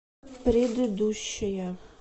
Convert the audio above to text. предыдущая